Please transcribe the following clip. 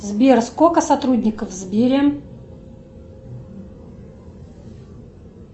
сбер сколько сотрудников в сбере